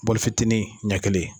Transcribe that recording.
bɔli fitinin ɲɛ kelen